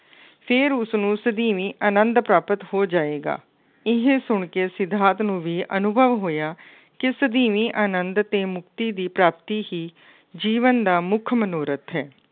ਫੇਰ ਉਸਨੂੰ ਸਦੀਵੀ ਆਂਨੰਦ ਪ੍ਰਾਪਤ ਹੋ ਜਾਏਗਾ। ਇਹ ਸੁਣ ਕੇ ਸਿਧਾਰਥ ਨੂੰੰ ਵੀ ਅਨੁਭਵ ਹੋਇਆ ਕਿ ਸਦੀਵੀ ਆਨੰਦ ਅਤੇ ਮੁਕਤੀ ਦੀ ਪ੍ਰਾਪਤੀ ਹੀ ਜੀਵਨ ਦਾ ਮੁੱਖ ਮਨੋਰਥ ਹੈ।